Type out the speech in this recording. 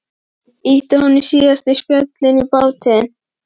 Símon: Ýta honum síðasta spölinn í bátinn?